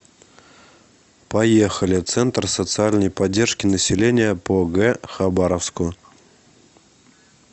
поехали центр социальной поддержки населения по г хабаровску